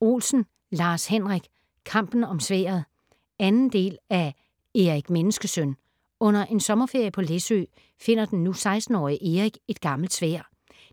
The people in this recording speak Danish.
Olsen, Lars-Henrik: Kampen om sværdet 2. del af Erik Menneskesøn. Under en sommerferie på Læsø, finder den nu 16-årige Erik et gammelt sværd.